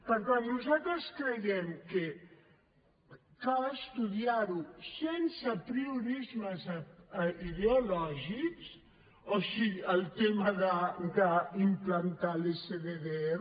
per tant nosaltres creiem que cal estudiar lo sense apriorismes ideològics o sigui el tema d’implantar l’sddr